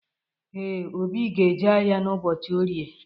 Ee, Obi ga-eje ahịa ụbọchi Orie.